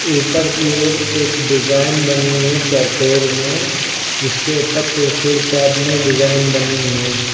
ऊपर की ओर एक डिजाइन बनी है चौकोर में जिसके ऊपर त्रिशूल टाइप में डिजाइन बनी है।